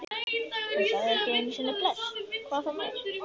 Hann sagði ekki einu sinni bless, hvað þá meir.